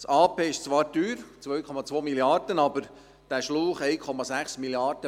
Das Projekt ist zwar teuer, es kostet 2,2 Mrd. Franken, aber der Schlauch kostet 1,6 Mrd. Franken